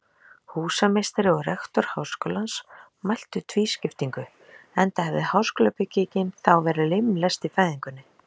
Húsameistari og rektor háskólans mótmæltu tvískiptingu, enda hefði háskólabyggingin þá verið limlest í fæðingunni.